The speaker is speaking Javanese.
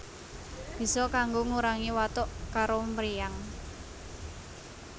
Bisa kanggo ngurangi watuk karo mriyang